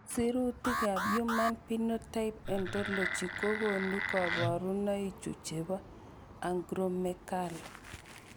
Sirutikab Human Phenotype Ontology kokonu koborunoikchu chebo Acromegaly.